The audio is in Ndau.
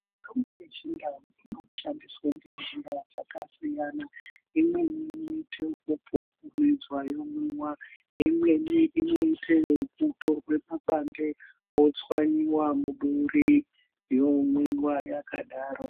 Mitombo yechindau inoshandiswa ngenzira dzakasiyana. Imweni inoite ekupupumidzwa yomwiwa, imweni inoita ekutorwe pabande wotswanyiwa muduri yomwiwa yakadaro.